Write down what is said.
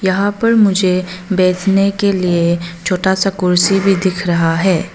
यहां पर मुझे बैठने के लिए छोटा सा कुर्सी भी दिख रहा है।